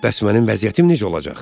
Bəs mənim vəziyyətim necə olacaq?